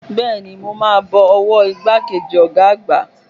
Bẹ́ẹ̀ni, mo máa bọ ọwọ́ ìgbà kejì ọ̀gá àgbà.